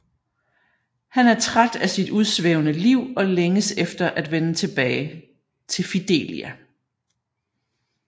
Han er træt af sit udsvævende liv og længes efter at vende tilbage til Fidelia